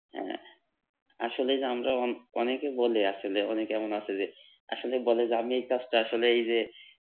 হ্যাঁ আসলে যে আমরা অন অনেকে বলি আসলে অনেকে এমন আছে যে আসলে বলে যে আমি এই কাজটা আসলে এই যে